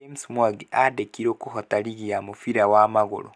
James Mwangi andĩkirwo kũhota rigi ya mũbira wa magũrũ